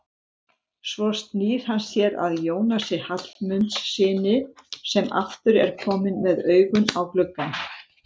Svo snýr hann sér að Jónasi Hallmundssyni sem aftur er kominn með augun á gluggann.